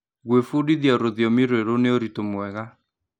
Gwĩbundithia rũthiomi rwerũ nĩ ũritũ mwega.